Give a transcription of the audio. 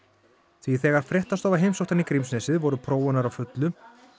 því þegar fréttastofa heimsótti hann í Grímsnesið voru prófanir á fullu